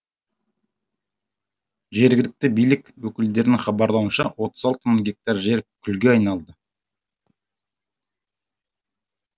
жергілікті билік өкілдерінің хабарлауынша отыз алты мың гектар жер күлге айналды